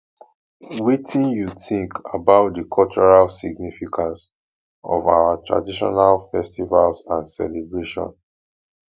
wetin you think about di cultural significance of our traditional festivals and celebrations